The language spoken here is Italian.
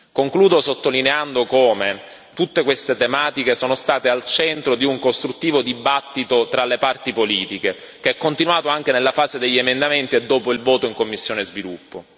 Concludo sottolineando come tutte queste tematiche sono state al centro di un costruttivo dibattito tra le parti politiche, che è continuato anche nella fase degli emendamenti e dopo il voto in commissione Sviluppo.